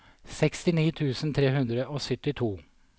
sekstini tusen tre hundre og syttito